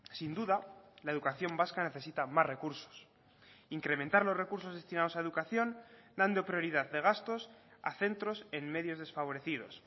sin duda la educación vasca necesita más recursos incrementar los recursos destinados a educación dando prioridad de gastos a centros en medios desfavorecidos